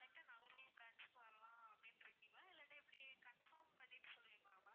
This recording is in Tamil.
straight டா நாகர்கோவில் branch க்கு வரலாம் அப்படின்னு இருக்கீங்களா இல்லன்னா எப்படி confirm பண்ணிட்டு சொல்றீங்களா ma'am